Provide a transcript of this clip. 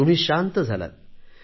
तुम्ही शांत झालात